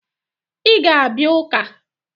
Ị ga-abịa ụka!